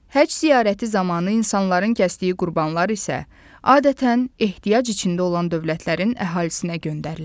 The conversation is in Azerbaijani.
Həcc ziyarəti zamanı insanların kəsdiyi qurbanlar isə adətən ehtiyac içində olan dövlətlərin əhalisinə göndərilir.